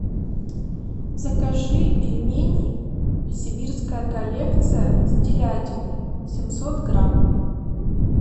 закажи пельмени сибирская коллекция с телятиной семьсот грамм